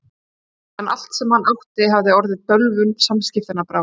En allt sem hann átti hafði orðið bölvun umskiptanna að bráð.